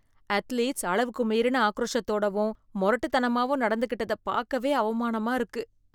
Athletes அளவுக்கு மீறின ஆக்ரோஷத்தோடவும் மொரட்டுத்தனமாவும் நடந்துக்கிட்டத பாக்கவே அவமானமா இருக்கு.